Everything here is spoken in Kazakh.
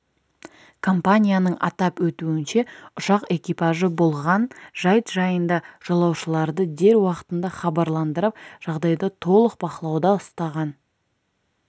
компанияның атап өтуінше ұшақ экипажы болған жайт жайында жолаушыларды дер уақытында хабарландырып жағдайды толық бақылауда ұстаған